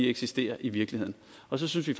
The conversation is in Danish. eksisterer i virkeligheden og så synes vi